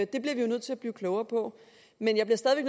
det bliver vi nødt til at blive klogere på men jeg bliver stadig